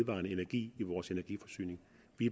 i